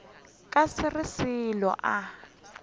ka se re selo a